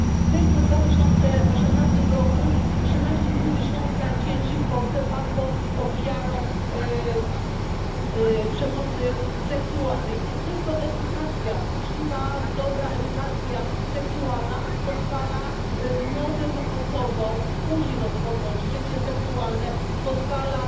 Tylko w 2018 roku 13,5 tysiąca dzieci w Polsce padło ofiarą przemocy seksualnej i tylko uczciwa, dobra edukacja seksualna pozwala młodym osobom później rozpocząć życie seksualne, pozwala